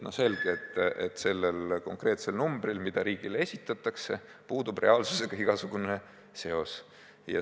Selge, et sellel konkreetsel numbril, mis riigile esitatakse, puudub reaalsusega igasugune seos.